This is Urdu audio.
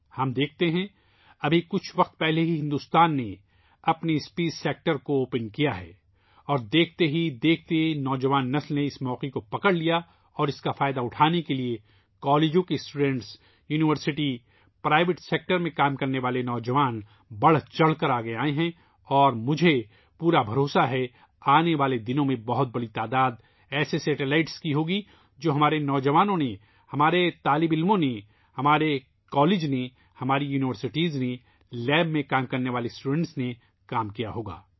ہم دیکھتے ہیں ، ابھی کچھ عرصہ پہلے ہی بھارت نے اپنے اسپیس کے شعبے کو کھولا اور دیکھتے ہی دیکھتے نوجوان نسل نے اس موقع سے فائدہ اٹھایا اور اس سے فائدہ اٹھانے کے لیے ، کالجوں ، یونیورسٹیوں کے طلباء ، نجی شعبے میں کام کرنے والے نوجوان بڑھ چڑھ کو آگے آئے ہیں اور مجھے یقین ہے کہ آنے والے دنوں میں بہت بڑی تعداد میں ایسے سیٹلائٹس ہوں گے ، جن میں ہمارے نو جوانوں ، ہمارے طلباء نے ، ہمارے کالج نے ، ہماری یونیورسٹی نے ، لیب میں کام کرنے والے طلباء نے کام کیا ہوگا